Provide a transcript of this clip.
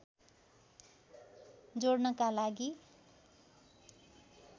जोड्नका लागि